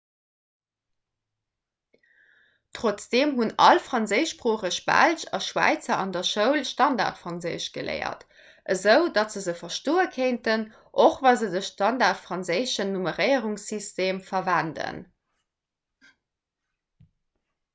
trotzdeem hunn all franséischsproocheg belsch a schwäizer an der schoul standardfranséisch geléiert esou datt se se verstoe kéinten och wa se de standardfranséischen nummeréierungssytem verwenden